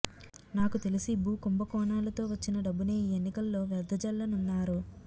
నాకు తెలిసి భూ కుంభకోణాలతో వచ్చిన డబ్బునే ఈ ఎన్నికల్లో వెదజల్లనున్నారు